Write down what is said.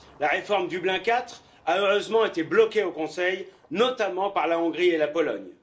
La réforme Dublin IV a heureusement été bloquée au Conseil, notamment par la Hongrie et la Pologne.